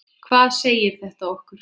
Hvað segir þetta okkur?